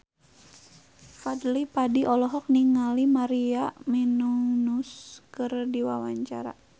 Fadly Padi olohok ningali Maria Menounos keur diwawancara